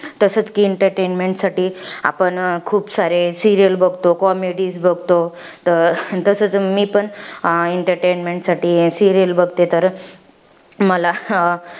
तसच कि entertainment साठी आपण खूप सारे serial बघतो. comedies बघतो. तर तसच मी पण entertainment साठी serial बघते तर, मला अं